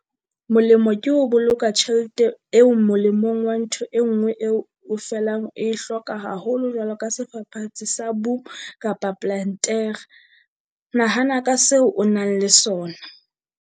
Molemo ke ho boloka tjhelete eo molemong wa ntho e nngwe eo o felang o e hloka haholo jwalo ka sefafatsi sa boom kapa plantere. Nahana ka seo o nang le sona.